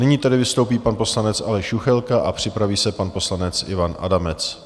Nyní tedy vystoupí pan poslanec Aleš Juchelka a připraví se pan poslanec Ivan Adamec.